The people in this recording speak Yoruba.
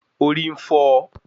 Orí ń fọ́ ọ